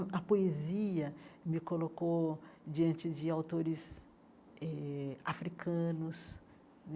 A poesia me colocou diante de autores eh africanos.